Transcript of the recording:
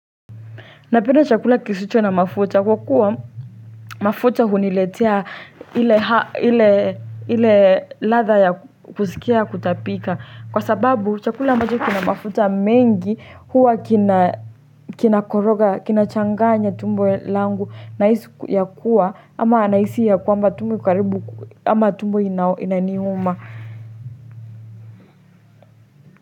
Napenda chakula kisicho na mafuta, kwa kuwa mafuta huniletea hile ladha ya kusikia kutapika. Kwa sababu chakula ambcho kina mafuta mengi huwa kina koroga, kinachanganya tumbo langu nahisi ya kuwa ama nahisi ya kwamba tumbo iko karibu ama tumbo inaniuma.